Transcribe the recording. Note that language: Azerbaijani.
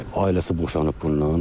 Ailəsi boşanıb bundan.